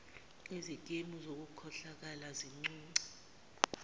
izikimu zokukhohlakala zincunce